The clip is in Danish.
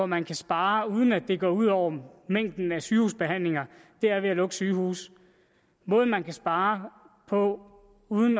man kan spare uden at det går ud over mængden af sygehusbehandlinger er ved at lukke sygehuse måden man kan spare på uden